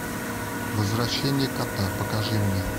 возвращение кота покажи мне